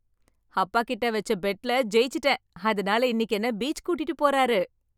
அப்பா கிட்ட வச்ச பெட்ல ஜெய்ச்சிட்டேன் அதனால இன்னிக்கு என்ன பீச் கூட்டிட்டு போறாரு .